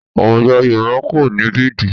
Àwùjọ Yorùbá kò ní bẹ́ẹ̀dì